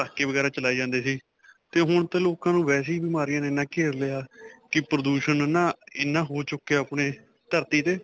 ਪਟਾਕੇ ਵਗੈਰਾ ਚਲਾਏ ਜਾਂਦੇ ਸੀ 'ਤੇ ਹੁਣ 'ਤੇ ਲੋਕਾਂ ਨੂੰ ਵੈਸੇ ਹੀ ਬਿਮਾਰੀਆਂ ਨੇ ਇੰਨਾ ਘੇਰ ਲਿਆ ਕਿ ਪ੍ਰਦੂਸ਼ਨ ਨਾ ਇੰਨਾ ਹੋ ਚੁੱਕਿਆ ਆਪਣੀ ਧਰਤੀ 'ਤੇ.